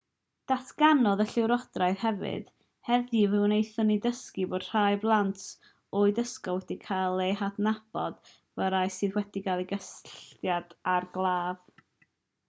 datganodd y llywodraethwr hefyd heddiw fe wnaethon ni ddysgu bod rhai plant oed ysgol wedi cael eu hadnabod fel rhai sydd wedi cael cysylltiad â'r claf